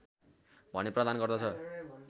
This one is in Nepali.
भने प्रदान गर्दछ